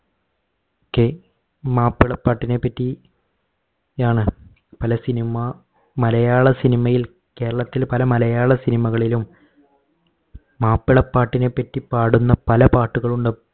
K മാപ്പിളപ്പാട്ടിനെ പറ്റി ആണ് പല cinema മലയാള cinema യിൽ കേരളത്തിൽ പല മലയാള cinema കളിലും മാപ്പിള പാട്ടിനെ പറ്റി പാടുന്ന പല പാട്ടുകളും ഉണ്ട്